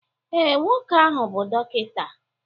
ee, nwoke ahụ bụ dọkịta.